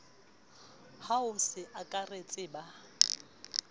ya ho se akaretse ba